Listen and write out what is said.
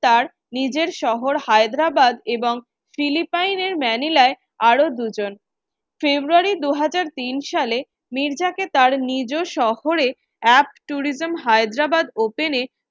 তার নিজের শহর হায়দ্রাবাদ এবং ফিলিপাইনের ম্যানিলায় আরো দুজন February দু হাজার তিন সালে মির্জাকে তার নিজ শহরে এক tourism Hyderabad open এ